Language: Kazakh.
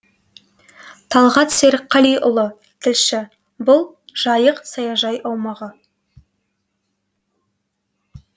талғат серікқалиұлы тілші бұл жайық саяжай аумағы